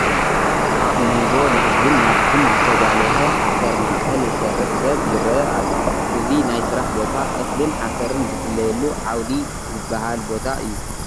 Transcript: ኣብሞንጎ ናብዝን ናብትን ዝተጋልሀ ሓሰር ማእኸል ዝሰርሕ ሰብ ይርአ ኣሎ፡፡ እዚ ናይ ስራሕ ቦታ እኽልን ሓሰርን ዝፍለየሉ ዓውዲ ዝበሃል ቦታ እዩ፡፡